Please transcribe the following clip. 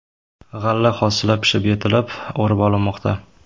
G‘alla hosili pishib yetilib, o‘rib olinmoqda.